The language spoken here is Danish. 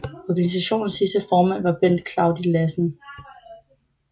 Organisationens sidste formand var Bent Claudi Lassen